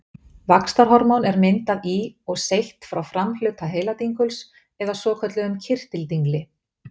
vaxtarhormón er myndað í og seytt frá framhluta heiladinguls eða svokölluðum kirtildingli